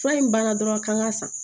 Fura in banna dɔrɔn k'an ka san